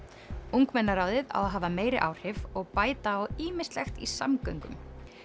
ungmennaráðið á að hafa meiri áhrif og bæta á ýmislegt í samgöngum